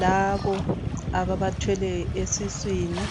labo ababathweleyo esiswini.